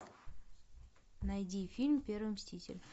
найди фильм первый мститель